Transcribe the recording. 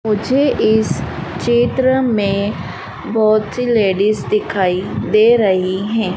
मुझे इस चित्र में बहोत सी लेडीज दिखाई दे रही हैं।